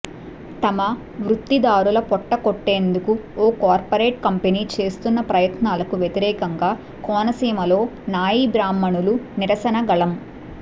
తమ వృత్తిదారుల పొట్ట కొట్టేందుకు ఓ కార్పొరేట్ కంపెనీ చేస్తున్న ప్రయత్నాలకు వ్యతిరేకంగా కోనసీమలో నాయీ బ్రాహ్మణులు నిరసన గళం